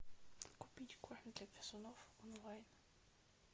купить корм для грызунов онлайн